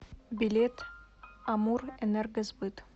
билет амурэнергосбыт